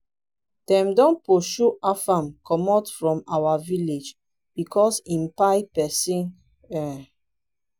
dem don pursue afam commot from our village because im kpai person um